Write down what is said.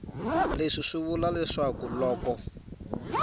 leswi swi vula leswaku loko